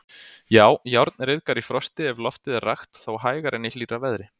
Já, járn ryðgar í frosti ef loftið er rakt, þó hægar en í hlýrra veðri.